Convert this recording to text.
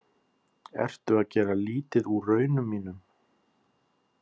Ertu að gera lítið úr raunum mínum?